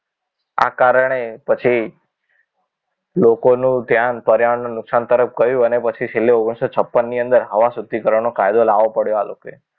આ કારણે પછી લોકોનો ધ્યાન પર્યાવરણ નું નુકસાન તરફ ગયું અને પછી છેલ્લે ઓગ્નીશો છપન ની અંદર હવા શુદ્ધિકરણ નો કાયદો લાવો પડ્યો આ લોકોને